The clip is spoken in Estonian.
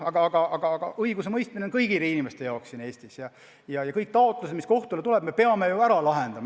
Aga õigusemõistmine on kõigi inimeste jaoks siin Eestis ja kõik taotlused, mis kohtule tulevad, me peame ära lahendama.